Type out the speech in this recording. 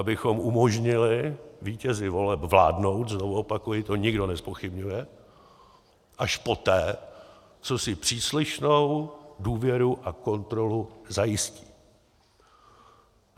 Abychom umožnili vítězi voleb vládnout - znovu opakuji, to nikdo nezpochybňuje - až poté, co si příslušnou důvěru a kontrolu zajistí.